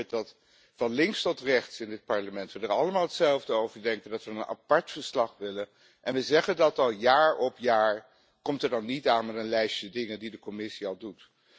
En als u hoort dat van Links tot Rechts in dit Parlement we er allemaal hetzelfde over denken, dat we een apart verslag willen, en we zeggen dat al jaar op jaar, kom dan niet aan met een lijstje dingen die de Commissie al doet.